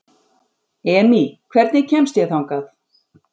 Emý, hvernig kemst ég þangað?